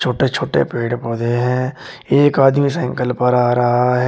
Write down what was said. छोटे छोटे पेड़ पौधे हैं एक आदमी साइकल पर आ रहा है।